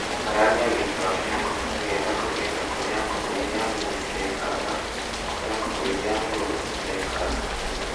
Gayania gĩikaro kĩa ngũkũ nĩgetha kũgĩe na kũrĩa ngũkũ iria nini cirĩikaragia na kũrĩa ngũkũ iria ngũrũ cirĩikaragia.